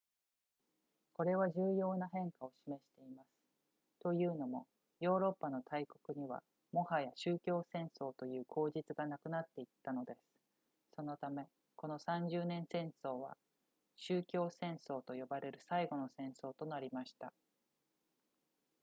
これは重要な変化を示していますというのもヨーロッパの大国にはもはや宗教戦争という口実がなくなっていったのですそのためこの三十年戦争は宗教戦争と呼ばれる最後の戦争となりました